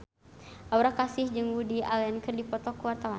Aura Kasih jeung Woody Allen keur dipoto ku wartawan